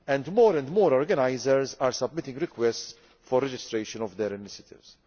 More and more organisers are submitting requests for registration of their initiatives.